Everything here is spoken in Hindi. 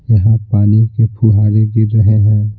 यहाँ पानी के फुहारे गिर रहे हैं।